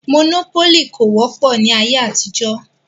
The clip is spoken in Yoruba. Mònópólì kò wọ́pọ̀ ní ayé àtijọ́